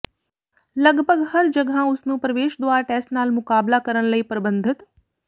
ਲਗਭਗ ਹਰ ਜਗ੍ਹਾ ਉਸ ਨੂੰ ਪ੍ਰਵੇਸ਼ ਦੁਆਰ ਟੈਸਟ ਨਾਲ ਮੁਕਾਬਲਾ ਕਰਨ ਲਈ ਪਰਬੰਧਿਤ